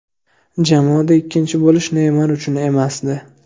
Jamoada ikkinchi bo‘lish Neymar uchun emasdi.